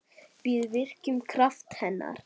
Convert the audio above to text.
Við virkjum kraft hennar.